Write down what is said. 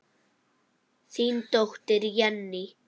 Þín dóttir, Jenný.